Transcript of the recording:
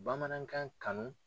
Bamanankan kanu.